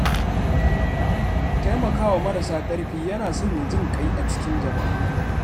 Taimaka wa marasa ƙarfi yana sanya jin ƙai a cikin jama’a.